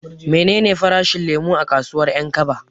Menene farashin lemo a kasuwar 'Yankaba?